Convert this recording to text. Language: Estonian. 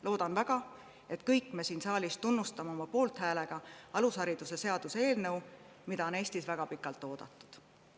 Loodan väga, et me kõik siin saalis tunnustame oma poolthäälega alusharidusseaduse eelnõu, mida on Eestis väga pikalt oodatud.